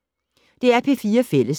DR P4 Fælles